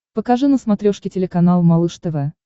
покажи на смотрешке телеканал малыш тв